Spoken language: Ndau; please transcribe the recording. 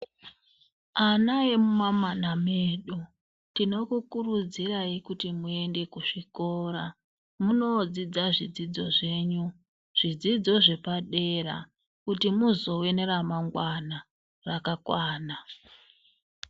Ana emuma mana medu tino kukurudzirai, kuti muende kuzvikora munodzidza zvidzidzo zvenyu. Zvidzidzo zvepadera kuti muzova nera mangwana rakakwana.